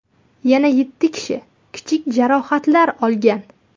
Yana yetti kishi kichik jarohatlar olgan.